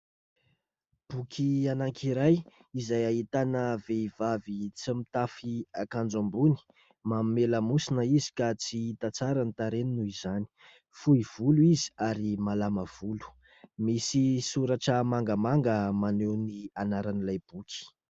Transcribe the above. Boky anankiray izay ahitana vehivavy tsy mitafy akanjo ambony, manome lamosina izy ka tsy hita tsara ny tarehiny noho izany, fohy volo izy ary malama volo. Misy soratra mangamanga maneho ny anaran'ilay boky.